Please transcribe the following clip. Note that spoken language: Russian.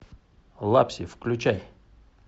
лапси включай